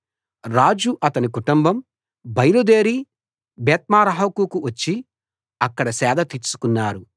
రాజు అతని కుటుంబం బయలుదేరి బెత్మెర్హాకుకు వచ్చి అక్కడ సేదదీర్చుకున్నారు